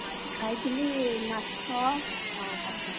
ଆଜି ଖାଇଥିଲି ମାଛ ଆଉ ଭାତ।